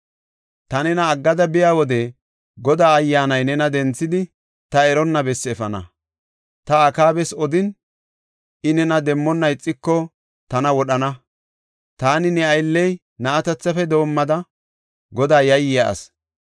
“Ta nena aggada biya wode Godaa Ayyaanay nena denthidi, ta eronna bessi efana. Ta Akaabas odin, I nena demmona ixiko, tana wodhana. Taani ne aylley na7atethafe doomada Godaa yayiya asi.